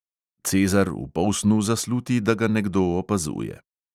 Cezar v polsnu zasluti, da ga nekdo opazuje.